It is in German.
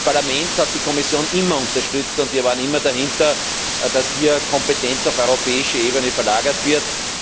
Das Parlament hat die Kommission immer unterstützt, und wir haben immer dahinter gestanden, dass hier Kompetenz auf europäische Ebene verlagert wird.